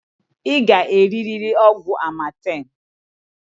I g'eririri ọgwụ amatemǃ